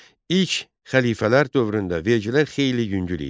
İlk xəlifələr dövründə vergilər xeyli yüngül idi.